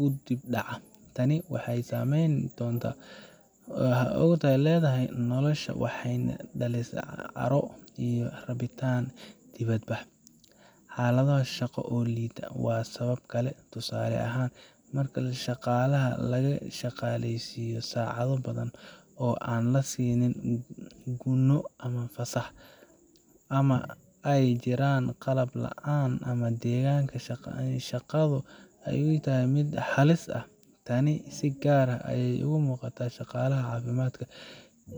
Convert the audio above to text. u dib u dhacda. Tani waxay saameyn toos ah ku leedahay noloshooda, waxayna dhalisaa caro iyo rabitaan dibadbax. Xaalado shaqo oo liita waa sabab kale. Tusaale ahaan, marka shaqaalaha laga shaqaleysiiyo saacado badan oo aan la siinin gunno ama fasax, ama ay jiraan qalab la’aan ama deegaanka shaqadu uu yahay mid halis ah. Tani si gaar ah ayay uga muuqataa shaqaalaha caafimaadka,